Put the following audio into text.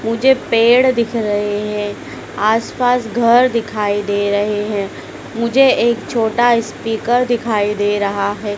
मुझे पेड़ दिख रहे हैं आस पास घर दिखाई दे रहे हैं मुझे एक छोटा स्पीकर दिखाई दे रहा है।